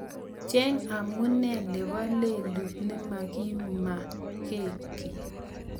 Cheng amune nebo lelut nemagimagengi